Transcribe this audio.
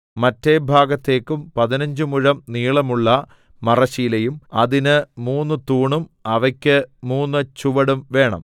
മറ്റെ ഭാഗത്തേക്കും പതിനഞ്ച് മുഴം നീളമുള്ള മറശ്ശീലയും അതിന് മൂന്ന് തൂണും അവയ്ക്ക് മൂന്ന് ചുവടും വേണം